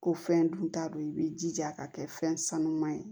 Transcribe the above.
Ko fɛn dun ta don i b'i jija ka kɛ fɛn sanuman ye